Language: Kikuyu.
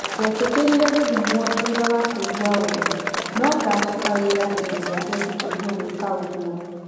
Ndetĩkĩrire gũthimwo thutha wa kũigwa ũrũ no-ngacoka wĩra hĩndĩ ĩrĩa ngetĩkĩrio gũĩka ũguo."